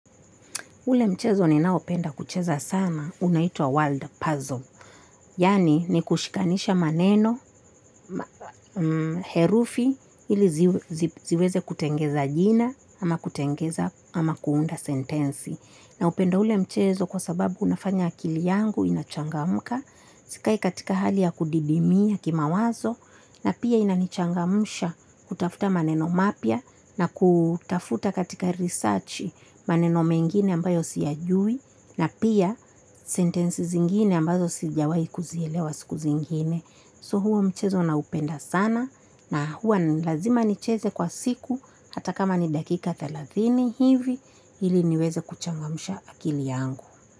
Ule mchezo ninaopenda kucheza sana unaitwa world puzzle. Yani ni kushikanisha maneno, herufi, ili ziweze kutengeneza jina ama kutengeneza ama kuunda sentensi. Naupenda ule mchezo kwasababu unafanya akili yangu inachangamka. Sikai katika hali ya kudidimia kimawazo na pia inanchangamsha kutafuta maneno mapya na kutafuta katika research maneno mengine ambayo siyajui na pia sentensi zingine ambazo sijawahi kuzielewa siku zingine. So huo mchezo na upenda sana na huwa nilazima nicheze kwa siku hata kama ni dakika thelathini hivi ili niweze kuchangamsha akili yangu.